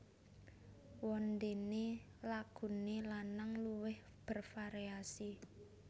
Wondene lagune lanang luwih bervariasi